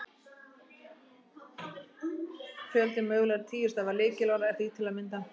Fjöldi mögulegra tíu stafa lykilorða er því til að mynda: